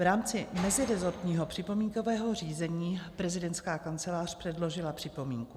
V rámci meziresortního připomínkového řízení prezidentská kancelář předložila připomínku.